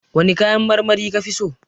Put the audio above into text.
Wane kayan marmari kafi so?